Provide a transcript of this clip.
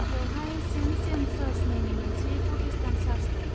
बेवहाय Saint James church मुंनि मोनसे प्र'टेस्टान्ट चार्च दं।